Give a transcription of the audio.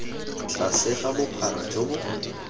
tlase ga bophara jo bo